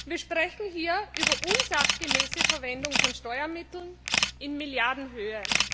Wir sprechen hier über unsachgemäße Verwendung von Steuermitteln in Milliardenhöhe.